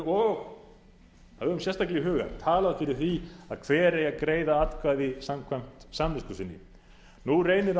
og höfum sérstaklega í huga talað fyrir því að hver eigi að greiða atkvæði samkvæmt samvisku sinni nú reynir